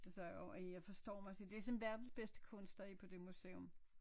Og så og øh jeg forstå mig så det så verdens bedste kunstnere på det museum